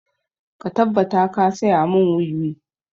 Ka tabbata ka saya mun wiwi!